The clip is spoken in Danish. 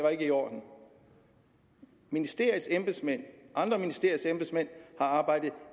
er i orden ministeriets embedsmænd og andre ministeriers embedsmænd har arbejdet